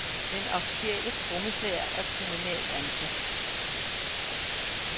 Den officielle trommeslager er kommunalt ansat.